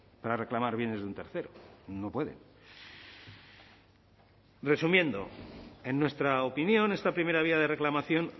para reclamar bienes de un tercero no pueden resumiendo en nuestra opinión esta primera vía de reclamación